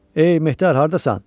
Ey mehdar, hardasan?